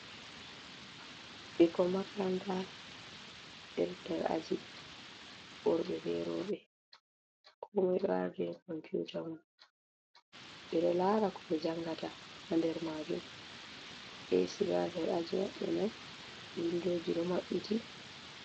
Bikkon makaranta beɗo nɗer aji worbe be robe. Komoi ɗo arden momputa mom. Be ɗo lara ko be jangata ha nder majum. esi ɗo ha nɗer aji mabbe mai. Winɗoji ɗo mabbiti.